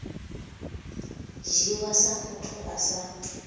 dzhiwa sa muthu a sa